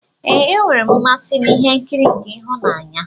Ee, enwere m mmasị n'ihe nkiri nke ịhụnanya.